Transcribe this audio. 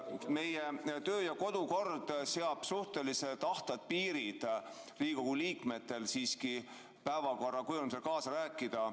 Meie kodu- ja töökord seab suhteliselt ahtad piirid Riigikogu liikmetele päevakorra kujundamisel kaasa rääkimiseks.